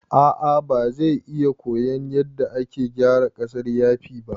A'a bazai iya koyan yadda ake gyara ƙasar yafi ba